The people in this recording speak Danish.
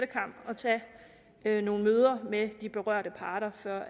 tage nogle møder med de berørte parter før